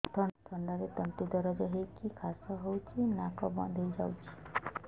ଥଣ୍ଡାରେ ତଣ୍ଟି ଦରଜ ହେଇକି କାଶ ହଉଚି ନାକ ବନ୍ଦ ହୋଇଯାଉଛି